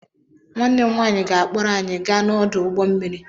Nwannem nwanyi ga-akpọrọ anyi gaa n'ọdụ ụgbọ mmiri.